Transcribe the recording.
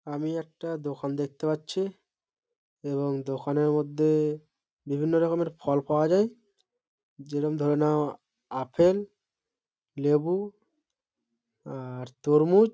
আমি একটা দোকান দেখতে পাচ্ছি এবং দোকানের মধ্যে বিভিন্ন রকমের ফল পাওয়া যায় যেরম ধরে নাও আপেল লেবু আর তরমুজ।